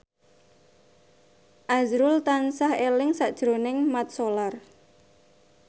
azrul tansah eling sakjroning Mat Solar